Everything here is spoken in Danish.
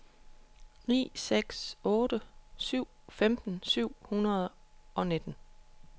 ni seks otte syv femten syv hundrede og nitten